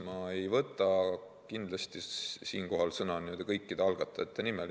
Ma ei võta kindlasti siinkohal sõna kõikide algatajate nimel.